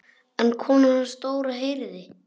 En konan hans Dóra heyrði.